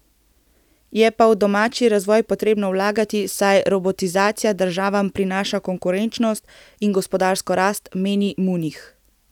Je pa v domači razvoj potrebno vlagati, saj robotizacija državam prinaša konkurenčnost in gospodarsko rast, meni Munih.